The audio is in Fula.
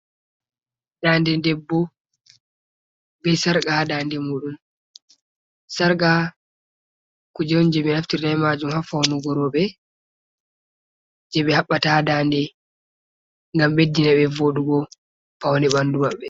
Nɗanɗe ɗeɓɓo, ɓe sarqa ha nɗanɗe muɗum. Sarga kuje on je ɓe naftirta ɓe majum ha faunugo robe, je ɓe haɓɓata ha nɗanɗe. Ngam ɓeɗɗina ɓe voɗugo paune ɓanɗu maɓɓe.